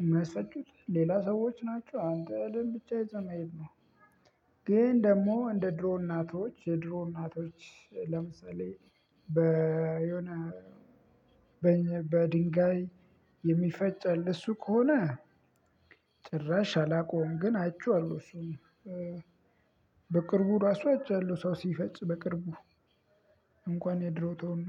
እሚያስፈጩት ሌላ ሰዎች ናቸው። አንተ እህልን ብቻ ይዘህ መሄድ ነው። ግን ደግሞ እንደ ድሮ እናቶች የድሮ እናቶች ለምሳሌ በ የሆነ በኘ በድንጋይ የሚፈጭ አለ እሱ ከሆነ። ጭራሽ አላቀውም ግን አይቼዋለሁ እሱን። በቅርቡ ራሱ አይቻለሁ ሰው ሲፈጭ በቅርቡ እንኳን የድሮ ተውና።